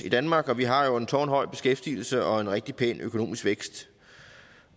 i danmark og vi har en tårnhøj beskæftigelse og en rigtig pæn økonomisk vækst